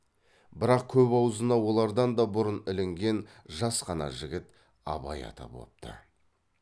бірақ көп аузына олардан да бұрын ілінген жас қана жігіт абай аты бопты